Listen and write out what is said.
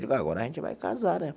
Digo, agora a gente vai casar, né?